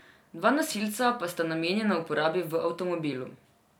Dva nosilca pa sta namenjena uporabi v avtomobilu.